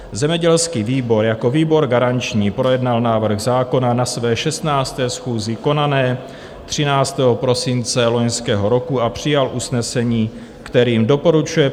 Zemědělský výbor jako výbor garanční projednal návrh zákona na své 16. schůzi, konané 13. prosince loňského roku, a přijal usnesení, kterým doporučuje